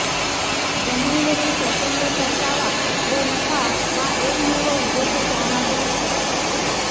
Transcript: जमिनीवरील प्रचंड परतावा व नफा हा एकमेव उद्देश त्यामागे होता